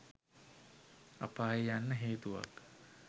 අපායේ යන්න හේතුවක්.